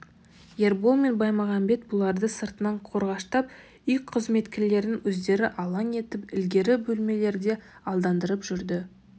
ербол мен баймағамбет бұларды сыртынан қорғаштап үй қызметкерлерін өздері алаң етіп ілгергі бөлмелерде алдандырып жүрді